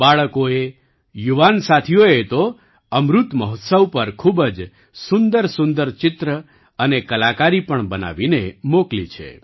બાળકોએ યુવાન સાથીઓએ તો અમૃત મહોત્સવ પર ખૂબ જ સુંદરસુંદર ચિત્ર અને કલાકારી પણ બનાવીને મોકલી છે